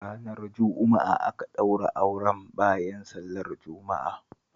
Ranar Juma'a aka ɗaura auren bayan sallar Juma'a